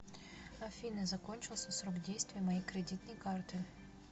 афина закончился срок действия моей кредитной карты